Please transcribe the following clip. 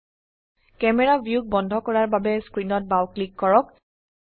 camera ভিউক বন্ধ কৰাৰ বাবে স্ক্ৰিনত বাও ক্লিক কৰক